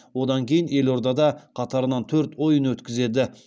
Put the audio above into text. одан кейін елордада қатарынан төрт ойын өткізеді